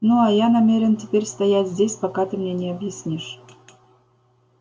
ну а я намерен теперь стоять здесь пока ты мне не объяснишь